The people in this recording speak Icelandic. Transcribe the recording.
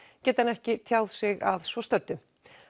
geti hann ekki tjáð sig að svo stöddu